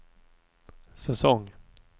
säsong